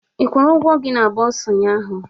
Ị kwụrụ ụgwọ gị na bursar ụnyaahụ?